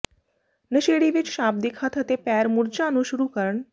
ਨਸ਼ੇੜੀ ਵਿੱਚ ਸ਼ਾਬਦਿਕ ਹੱਥ ਅਤੇ ਪੈਰ ਮੁਰਝਾ ਨੂੰ ਸ਼ੁਰੂ ਕਰਨ